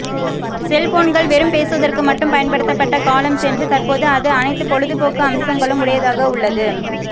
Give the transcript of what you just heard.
செல்போன்கள் வெறும் பேசுவதற்கு மட்டும் பயன்படுத்தப்பட்ட காலம் சென்று தற்போது அது அனைத்து பொழுது போக்கு அம்சங்களும் உடையதாக உள்ளது